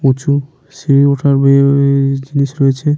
উঁচু সিড়ি উঠা বেয়ে বেয়ে -এ-এ জিনিস রয়েছে।